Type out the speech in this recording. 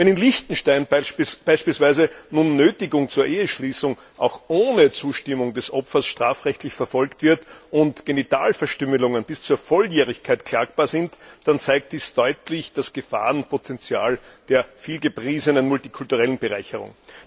Wenn in Liechtenstein beispielsweise nun Nötigung zur Eheschließung auch ohne Zustimmung des Opfers strafrechtlich verfolgt wird und Genitalverstümmelungen bis zur Volljährigkeit klagbar sind, dann zeigt dies deutlich das Gefahrenpotenzial der vielgepriesenen multikulturellen Bereicherung.